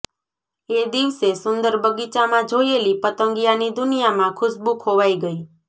એ દિવસે સુંદર બગીચામાં જોયેલી પતંગિયાની દુનિયામાં ખુશ્બુ ખોવાઈ ગઈ